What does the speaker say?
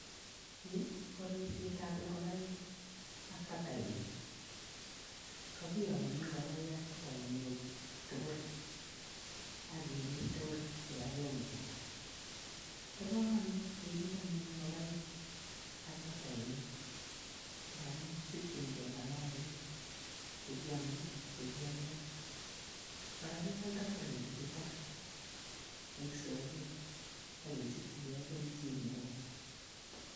Ni ko ripsetab ingokaik ak batainik, kakiyomnyo ingokaik ak batainik tugul ak kerip tugul kipagenge. Bo kamanut kerip anyuun ngokaik ak batainik ndamuun kisikchinkei maainik chekiame ak che kialdoi, kora kialdoi taritik chuto eng soket ak kesichikei kelchin neo.